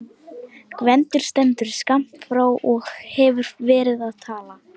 Gvendur stendur skammt frá og hefur verið að tala.